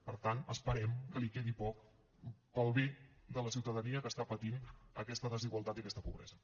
per tant esperem que li quedi poc per al bé de la ciutadania que està patint aquesta desigualtat i aquesta pobresa